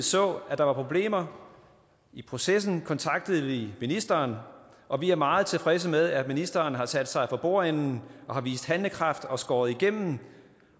så at der var problemer i processen kontaktede vi ministeren og vi er meget tilfredse med at ministeren har sat sig for bordenden og har vist handlekraft og skåret igennem